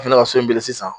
A fana ka so in bili sisan